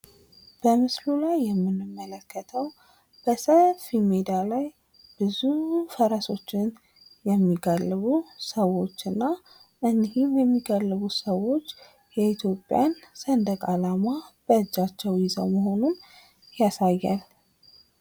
በምስሉ ላይ የምንመለከተው በሰፊ ሜዳ ላይ ብዙ ፈረሶችን የሚጋልቡ ሰዎች እና እኒህም የሚጋልቡት ሰዎች የኢትዮጵያን ሰንደቅ ዓላማ በእጃቸው ይዘው መሆኑን ያሳያል።